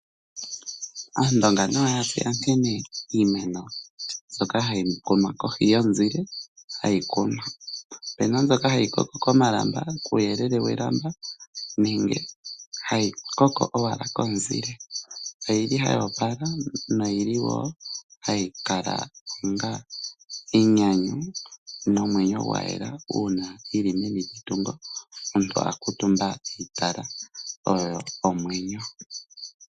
Aandonga nayo yatseya nkene iimeno mbyoka hayi kunwa kohi yomuzile, hayi kunwa. Opena mbyoka hayi koko komalamba, kuyeelele welamba nenge hayi koko owala komuzile. Oyili hayi opala noyili wo hayi kala onga enyanyu nomwenyo gwayela uuna yili meni lyetungo omuntu akuutumba eyi tala, oyo omwenyo.